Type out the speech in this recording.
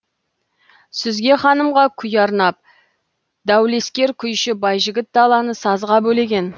сүзге ханымға күй арнап даулескер күйші байжігіт даланы сазға бөлеген